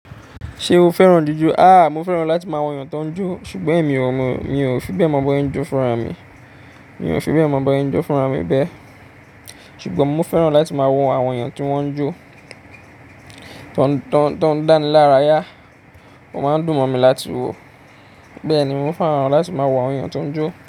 Ṣé o fẹ́ràn jíjó? A, mo fẹ́ràn láti máa wo èèyàn tó ń jó, ṣùgbọ́n emi ò, mi ò fi bẹ́ẹ̀ mọ̀ bose njó fúnra mi, mi ò fi bẹ́ẹ̀ mọ̀ bose njó fúnra mi bẹ́ẹ̀. Ṣùgbọ́n mo fẹ́ràn láti máa wo àwọn èèyàn tí wọ́n ń jó, tó ń, tó ń dáni lára yá, won máa ń dùn mọ́ mi láti wo. Bẹ́ẹ̀ ni, mo fẹ́ràn láti máa wo àwọn èèyàn tó ń jó.